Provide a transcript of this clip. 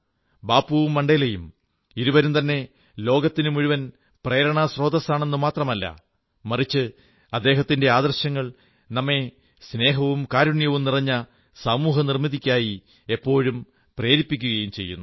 ബാപ്പുവും മണ്ഡേലയും ഇരുവരും തന്നെ ലോകത്തിനുമുഴുവൻ പ്രേരണാസ്രോതസാണെന്നു മാത്രമല്ല മറിച്ച് അദ്ദേഹത്തിന്റെ ആദർശങ്ങൾ നമ്മെ സ്നേഹവും കാരുണ്യവും നിറഞ്ഞ സമൂഹനിർമ്മിതിക്കായി എപ്പോഴും പ്രേരിപ്പിക്കുകയും ചെയ്യുന്നു